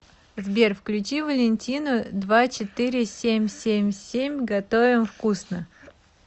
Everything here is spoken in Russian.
сбер включи валентину два четыре семь семь семь готовим вкусно